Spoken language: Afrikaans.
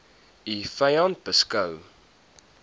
u vyand beskou